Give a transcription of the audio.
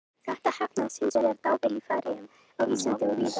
Þetta heppnaðist hins vegar dável í Færeyjum, á Íslandi og víðar.